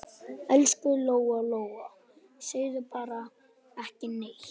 Elsku Lóa-Lóa, segðu bara ekki neitt.